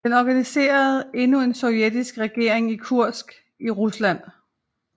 Den organiserede endnu en sovjetisk regering i Kursk i Rusland